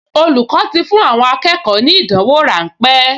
Olùkọ́ ti fún àwọn akẹ́kọ̀ọ ní ìdánwò ráńpẹ́